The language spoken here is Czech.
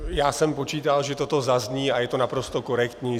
Já jsem počítal, že toto zazní, a je to naprosto korektní.